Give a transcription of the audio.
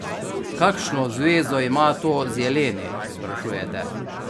Kakšno zvezo ima to z jeleni, sprašujete?